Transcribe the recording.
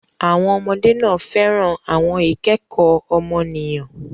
Àwọn ọmọdé náà fẹ́ràn àwọn ìkẹ́kọ̀ọ́ ọmọnìyàn.